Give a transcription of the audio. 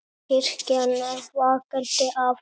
Kirkjan er vakandi afl.